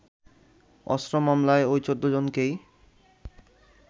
অস্ত্র মামলায় ওই ১৪ জনকেই